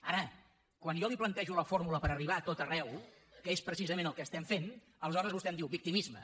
ara quan jo li plantejo la fórmula per arribar a tot arreu que és precisament el que estem fent aleshores vostè em diu victimisme